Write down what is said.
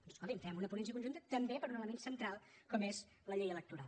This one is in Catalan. doncs escolti’m fem una ponència conjunta també per a un element central com és la llei electoral